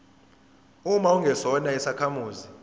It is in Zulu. uma ungesona isakhamuzi